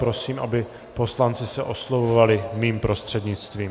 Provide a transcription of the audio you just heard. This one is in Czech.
Prosím, aby poslanci se oslovovali mým prostřednictvím.